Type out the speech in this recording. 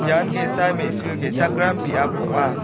ian ge·sa me·su ge·chakram biap ong·a.